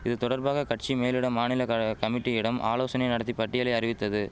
இதுதொடர்பாக கட்சி மேலிடம் மாநில கழக கமிட்டியிடம் ஆலோசனை நடத்தி பட்டியலை அறிவித்தது